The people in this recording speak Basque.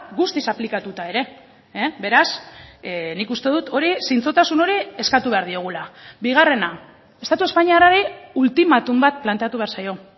guztiz aplikatuta ere beraz nik uste dut hori zintzotasun hori eskatu behar diogula bigarrena estatu espainiarrari ultimatum bat planteatu behar zaio